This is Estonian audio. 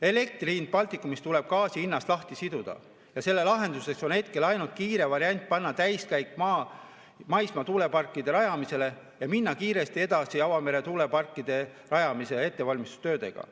Elektri hind Baltikumis tuleb gaasi hinnast lahti siduda ja selle lahenduseks on hetkel ainult kiire variant panna sisse täiskäik maismaa tuuleparkide rajamisel ja minna kiiresti edasi avamere tuuleparkide rajamise ettevalmistustöödega.